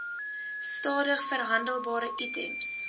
stadig verhandelbare items